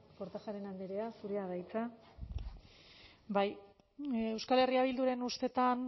kortajarena andrea zurea da hitza bai euskal herria bilduren ustetan